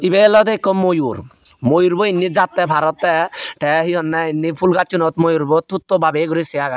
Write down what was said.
ibey olodey ekko moyur moyurbo indi jatte par ottey te he honney indi moyurbo phul gacchunot tutto babeye guri se agey te.